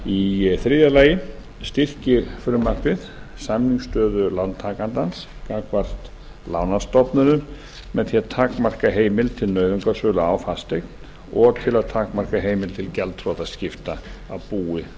í þriðja lagi styrkir frumvarpið samningsstöðu lántakenda gagnvart lánastofnunum með því að takmarka heimild til nauðungarsölu á fasteign og til að takmarka heimild til gjaldþrotaskipta af búi